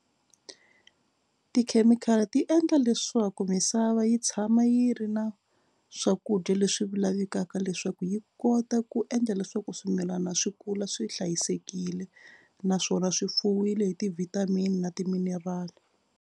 Tikhemikhali ti endla leswaku misava yi tshama yi ri na swakudya leswi lavekaka leswaku yi kota ku endla leswaku swimilana swi kula swi hlayisekile naswona swi fuwile hi ti-vitamin na ti-mineral.